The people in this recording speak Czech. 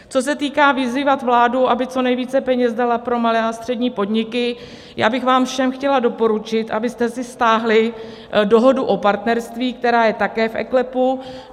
Co se týká vyzývat vládu, aby co nejvíce peněz dala pro malé a střední podniky, já bych vám všem chtěla doporučit, abyste si stáhli Dohodu o partnerství, která je také v eKLEPu.